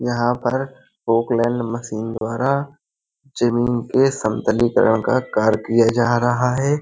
यहाँ पर मशीन द्वारा जमीन के समतलीकरण का कार्य किया जा रहा है।